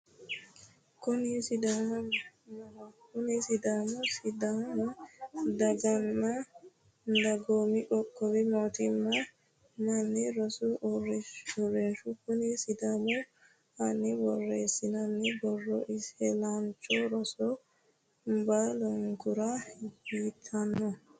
Kuni sumudaho kuni sumudi sidaamu daganna dagoomi qoqqowi mootimma manni rosi uurrinshaati konni sumudi aana borreessinoonni borro isilaancho roro baalunkura yitanno.